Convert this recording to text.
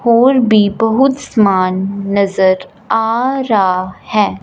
और भी बहुत सामान नजर आ रहा है।